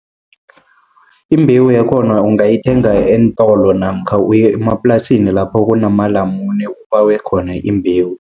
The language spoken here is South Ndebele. Imbewu yakhona ungayithenga eentolo, namkha uye emaplasini lapho kunamalamune ubawe khona imbewu.